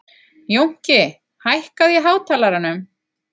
Jónki, hækkaðu í hátalaranum.